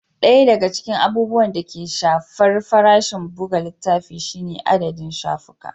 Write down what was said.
Ɗaya daga cikin abubuwan da ke shafar farashin buga littafi shine adadin shafuka.